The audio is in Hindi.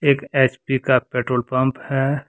एक एच_पी का पेट्रोल पंप है।